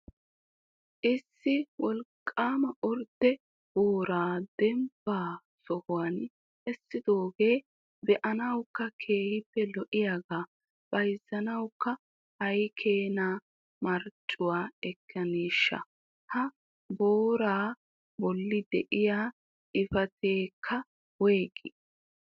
Issi wolqqama ordde booraa dembba sohuwan essidooge be"anawukka keehippe lo"iyaagaa bayzziyaakko aykkeena marccuwaa ekkaneshsha? Ha booraa bolli de'iyaa xifateekka woyggi?